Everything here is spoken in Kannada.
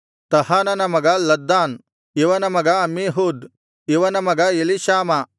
ತಹಾನನ ಮಗ ಲದ್ದಾನ್ ಇವನ ಮಗ ಅಮ್ಮೀಹೂದ್ ಇವನ ಮಗ ಎಲೀಷಾಮ